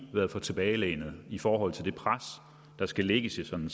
været for tilbagelænede i forhold til det pres der skal lægges i sådan